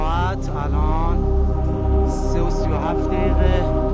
İndiki saat 3:37-dir.